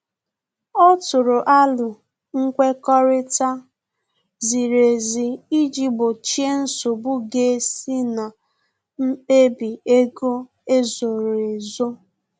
Ọ tụrụ arọ nkwekọrịta ziri ezi iji gbochie nsogbu ga esi na mkpebi ego ezoro ezo